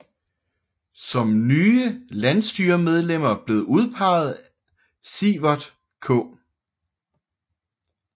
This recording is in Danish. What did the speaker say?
Som nye landsstyremedlemmer blev udpeget Siverth K